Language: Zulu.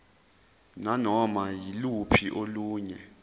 nanoma yiluphi olunye